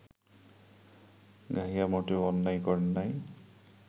গাহিয়া মোটেও অন্যায় করেন নাই